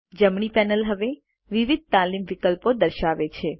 જમણી પેનલ હવે વિવિધ તાલીમ વિકલ્પો દર્શાવે છે